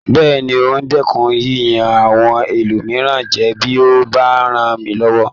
Bẹ́ẹ̀ni, n o dẹ́kun yíyan àwọn ẹlòmíràn jẹ bí o bá ràn mí lọwọ